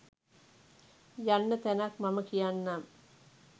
යන්න තැනක් මම කියන්නම්.